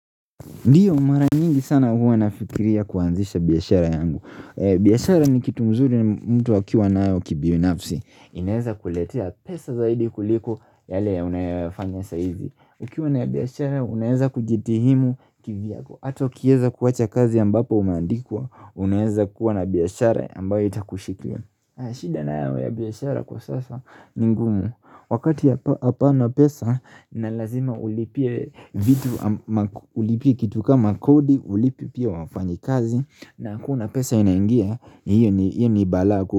Ndiyo mara nyingi sana huwa nafikiria kuanzisha biyashara yangu biyashara ni kitumzuri mtu akiwa na ayo kibinafsi inaeza kuletea pesa zaidi kuliko yale ya unayafanya saizi Ukiwa na biyashara unaeza kujitihimu kiviako Hato kieza kuwacha kazi ambapo umeandikwa Unaeza kuwa na biyashara ambayo itakushikia shida na ayo ya biyashara kwa sasa ni ngumu Wakati hapana pesa na lazima ulipie kitu kama kodi ulipie wafanyi kazi na kuna pesa inaingia hiyo ni bala kuhu.